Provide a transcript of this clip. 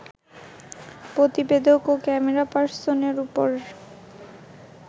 প্রতিবেদক ও ক্যামেরাপার্সনের ওপর